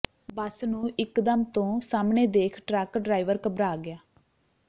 ਬੱਸ ਨੂੰ ਇੱਕ ਦਮ ਤੋਂ ਸਾਹਮਣੇ ਦੇਖ ਟਰੱਕ ਡਰਾਈਵਰ ਘਬਰਾ ਗਿਆ